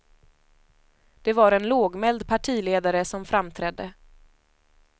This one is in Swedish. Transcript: Det var en lågmäld partiledare som framträdde.